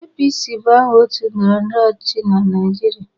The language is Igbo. APC bụ aha otu ndọrọndọrọ ọchịchị na Naijiria.